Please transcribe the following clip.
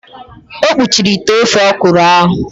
O kpuchiri ite ofe ọkwụrụ ahụ.